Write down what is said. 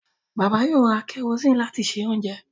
Bàbá yóò ra kẹrosíìnì láti se oúnjẹ